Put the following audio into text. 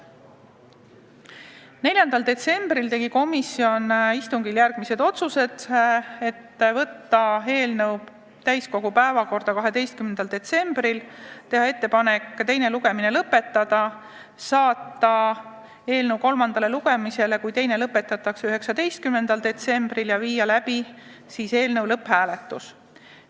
4. detsembril tegi komisjon istungil järgmised otsused: võtta eelnõu täiskogu päevakorda 12. detsembriks, teha ettepanek teine lugemine lõpetada, saata eelnõu kolmandale lugemisele, kui teine lõpetatakse, 19. detsembriks ja viia siis läbi lõpphääletus.